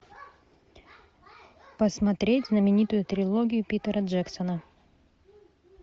посмотреть знаменитую трилогию питера джексона